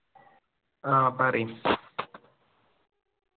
ആ പറയ്